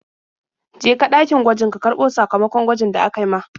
Je ka ɗakin gwaji ka karɓo sakamakon gwajin da aka yi ma.